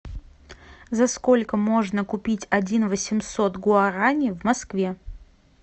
за сколько можно купить один восемьсот гуарани в москве